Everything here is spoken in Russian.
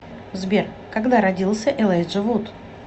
сбер когда родился элайджа вуд